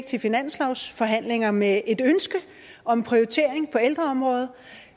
til finanslovsforhandlinger med et ønske om prioritering på ældreområdet